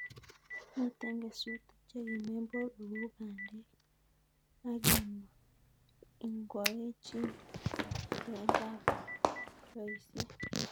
Minten kesutik chekimen borwek kou bandek ak inkwoechin lointab roisiek.